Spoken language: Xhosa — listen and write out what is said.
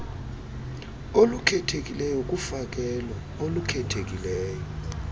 olukhethekileyo kufakelo olukhethekileyo